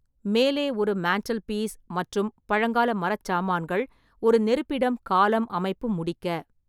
மேலே ஒரு mantel piece மற்றும் பழங்கால மரச்சாமான்கள் ஒரு நெருப்பிடம் காலம் அமைப்பு முடிக்க.